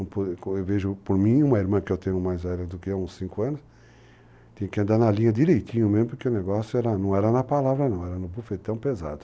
Eu vejo, por mim, uma irmã que eu tenho mais velha do que eu há uns cinco anos, tem que andar na linha direitinho mesmo, porque o negócio não era na palavra não, era no profetão pesado.